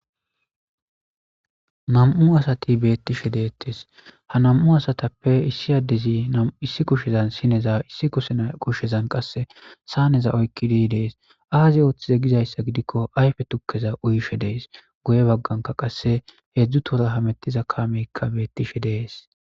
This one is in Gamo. Nam'u asati bettishe de'ettes ha nam'u asatappe issi addezi nami issi kushshezan sinne oyikkida issi kushshezan qase saaneza oyikkidi de'esi azzi oththize gizzayisa giddiko ayife tukkeza uyishe deesi guye baggaraka qase hedzdzu tohon hammetiza kammeyka bettish deesi.